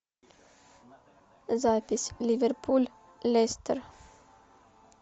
запись ливерпуль лестер